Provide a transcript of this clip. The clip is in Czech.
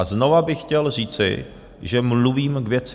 A znovu bych chtěl říci, že mluvím k věci.